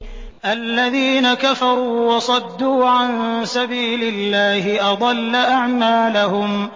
الَّذِينَ كَفَرُوا وَصَدُّوا عَن سَبِيلِ اللَّهِ أَضَلَّ أَعْمَالَهُمْ